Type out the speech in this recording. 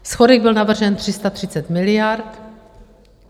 Schodek byl navržen 330 miliard.